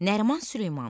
Nəriman Süleymanov.